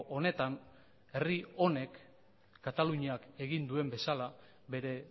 honetan herri honek kataluniak egin duen bezala bere